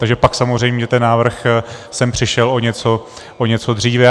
Takže pak samozřejmě ten návrh sem přišel o něco dříve.